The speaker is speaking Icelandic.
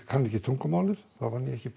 kann ekki tungumálið þá vann ég ekki